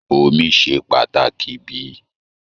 Omí ṣe pàtàkì bíi?